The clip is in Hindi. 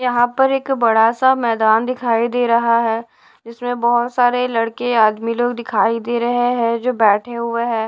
यहाँ पर एक बड़ा सा मैदान दिखाई दे रहा हैं इसमें बहोत सारे लड़के आदमी लोग दिखाई दे रहें हैं जो बैठे हुए हैं।